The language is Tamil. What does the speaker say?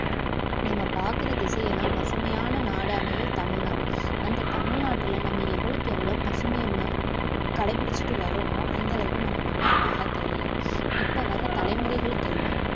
நம்ம பாக்குற திசையெல்லாம் பசுமையான நாடானது தமிழ்நாடு அந்த தமிழ்நாட்டுல நம்ம எவ்வளவுக்கெவ்ளோ பசுமைய ம~ கடைபிடிச்சிட்டு வர்றோமோ அந்த அளவுக்கு நம்ம நாடு அழகா தெரியும் இப்போ வர்ற தலைமுறைகளுக்கெல்லாம்